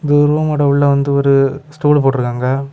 இது ரூமோட உள்ள வந்து ஒரு ஸ்டூல் போட்டிற்காங்க.